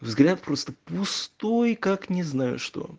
взгляд просто пустой как не знаю что